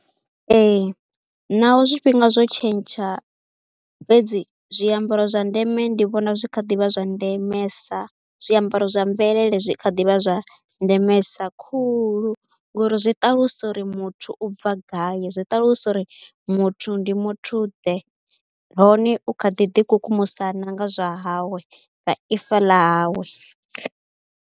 Ee naho zwifhinga zwo tshentsha fhedzi zwiambaro zwa ndeme ndi vhona zwi kha ḓi vha zwa ndemesa, zwiambaro zwa mvelele zwi kha ḓi vha zwa ndemesa khulu ngori zwi ṱalusa uri muthu u bva gai, zwi ṱalusa uri muthu ndi muthuḓe nahone u kha ḓi ḓikukumusa na nga zwa hawe, nga ifa ḽa hawe.